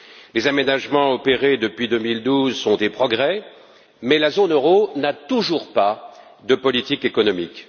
Les aménagements opérés depuis 2012 sont des progrès, mais la zone euro n'a toujours pas de politique économique.